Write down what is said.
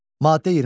Maddə 23.